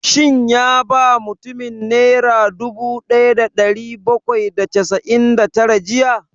Shin ya ba mutumin nera dubu ɗaya da ɗari bakwai da casa'in da tara jiya?